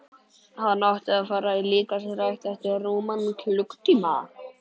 Hann átti að fara í líkamsrækt eftir rúman klukkutíma.